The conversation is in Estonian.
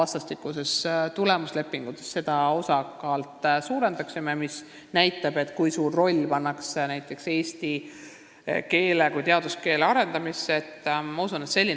Samuti usun, et ollakse valmis suurendama vastastikustes tulemuslepingutes eesti keele osakaalu, mis näitaks eesti keele kui teaduskeele arendamise suurt rolli.